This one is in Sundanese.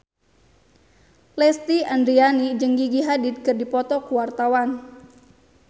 Lesti Andryani jeung Gigi Hadid keur dipoto ku wartawan